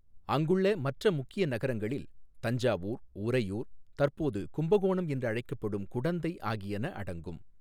அங்குள்ள மற்ற முக்கிய நகரங்களில் தஞ்சாவூர், உறையூர், தற்போது கும்பகோணம் என்று அழைக்கப்படும் குடந்தை ஆகியன அடங்கும்.